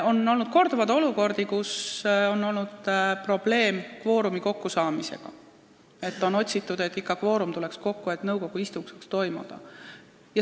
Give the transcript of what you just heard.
Korduvalt on olnud olukordi, kus on olnud probleem kvoorumi kokkusaamisega: inimesi on taga otsitud, et kvoorum ikka kokku tuleks ja nõukogu istung saaks toimuda.